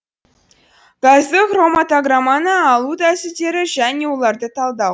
газды хроматограмманы алу тәсілдері және оларды талдау